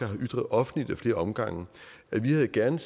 har ytret offentligt ad flere omgange at vi gerne